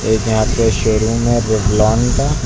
एक यहां पे शोरूम है रेवलॉन का।